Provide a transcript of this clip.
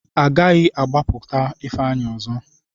A gaghị agbapụta Ifeanyị ọzọ.